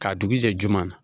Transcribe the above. Ka dugujɛ ju